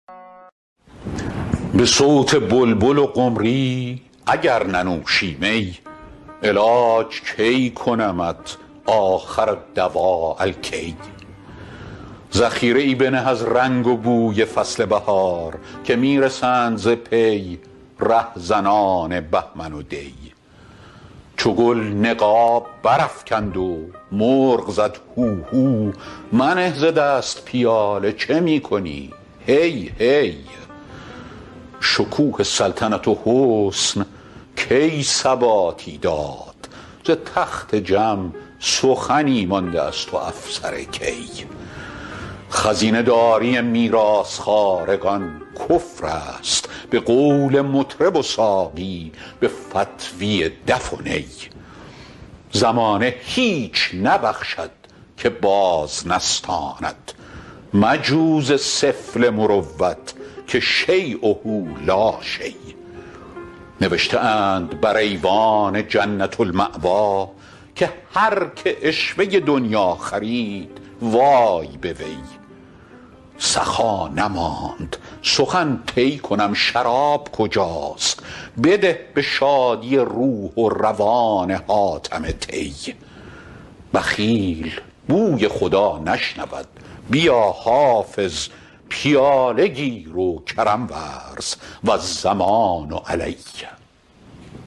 به صوت بلبل و قمری اگر ننوشی می علاج کی کنمت آخرالدواء الکی ذخیره ای بنه از رنگ و بوی فصل بهار که می رسند ز پی رهزنان بهمن و دی چو گل نقاب برافکند و مرغ زد هوهو منه ز دست پیاله چه می کنی هی هی شکوه سلطنت و حسن کی ثباتی داد ز تخت جم سخنی مانده است و افسر کی خزینه داری میراث خوارگان کفر است به قول مطرب و ساقی به فتویٰ دف و نی زمانه هیچ نبخشد که باز نستاند مجو ز سفله مروت که شییه لا شی نوشته اند بر ایوان جنة الماویٰ که هر که عشوه دنییٰ خرید وای به وی سخا نماند سخن طی کنم شراب کجاست بده به شادی روح و روان حاتم طی بخیل بوی خدا نشنود بیا حافظ پیاله گیر و کرم ورز و الضمان علی